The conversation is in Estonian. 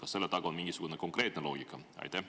Kas selle taga on mingisugune konkreetne loogika?